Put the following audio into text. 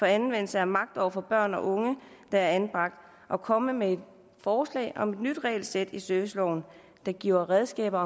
anvendelsen af magt over for børn og unge der er anbragt og komme med et forslag om et nyt regelsæt i serviceloven der giver redskaber